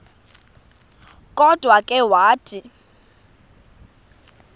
kodwa ke wathi